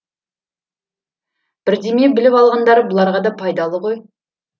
бірдеме біліп алғандары бұларға да пайдалы ғой